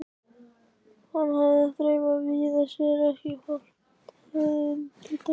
Hann hafði þreifað víða fyrir sér en ekki hlotið undirtektir.